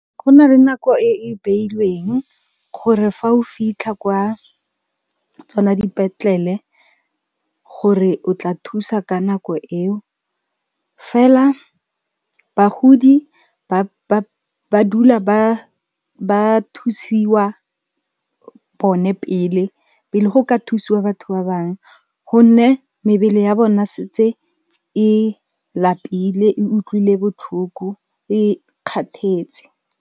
Go na le nako e e beilweng gore fa o fitlha kwa tsona dipetlele gore o tla thusa ka nako eo, fela bagodi ba dula ba thusiwa bone pele, pele go ka thusiwa batho ba bangwe gonne mebele ya bona e setse e lapile, e utlwile botlhoko, e kgathetse.